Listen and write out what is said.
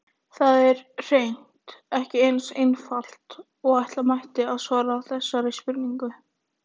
Það er hreint ekki eins einfalt og ætla mætti að svara þessari spurningu.